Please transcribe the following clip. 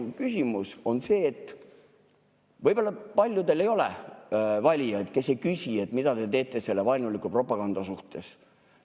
Minu küsimus on see, et võib-olla paljudel ei ole valijaid, kes, mida te teete selle vaenuliku propaganda suhtes.